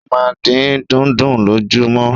O máa n din dùndún lojumọ.